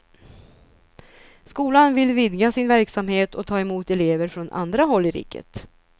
Skolan vill vidga sin verksamhet och ta emot elever från andra håll i riket.